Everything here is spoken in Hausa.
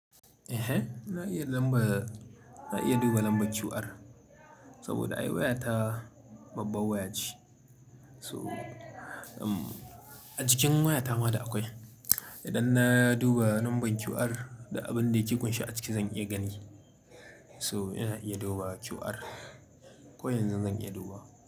Ehen, na iya lamba, na iya duba lambar QR saboda ai waya ta babba waya ce. So, a jikin wayata ma da akwai. Idan na duba lambar QR da abin da yake kunshi a ciki zan iya gani. So ina iya duba QR. Ko yanzu zan iya duba.